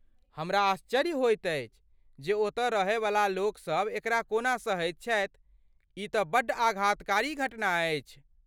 हमरा आश्चर्य होइत अछि जे ओतऽ रहैवला लोकसभ एकरा कोना सहैत छथि, ई तँ बड्ड आघातकारी घटना अछि।